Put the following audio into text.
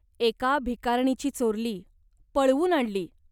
"एका भिकारणीची चोरली. पळवून आणली.